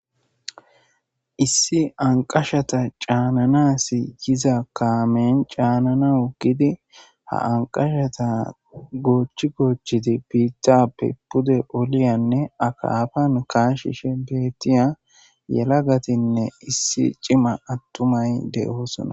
Issi anqqashata cananas yiiza kaamen caananawu giidi ha anqqashaza goochi goochi biittappe puude olliyanne akkappan kashishe bettiya yellagattinne issi ciimma attumay de'ossona.